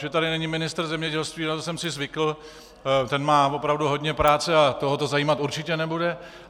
Že tady není ministr zemědělství, na to jsem si zvykl, ten má opravdu hodně práce a toho to zajímat určitě nebude.